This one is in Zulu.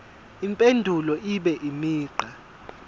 impendulo ibe imigqa